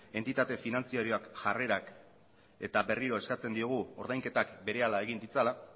entitate finantziarioak jarrerak eta berriro eskatzen diogu ordainketak berehala egin ditzala